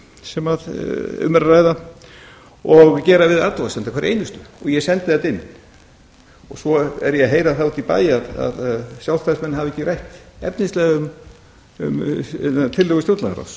sem um er að ræða og gera við athugasemdir hverja einustu eg sendi það inn svo er ég að heyra það úti í bæ að sjálfstæðismenn hafi ekki rætt efnislega um tillögur stjórnlagaráðs